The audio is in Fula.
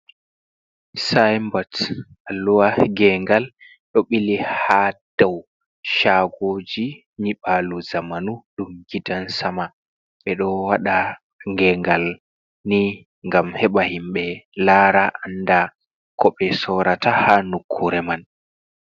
Symbots alluha gengal ɗo ɓili ha daw chagoji nyiɓalu zamanu ɗum gidan sama, ɓeɗo waɗa gengal ni ngam heba himɓe lara anda koɓe sorrata ha nokkure man.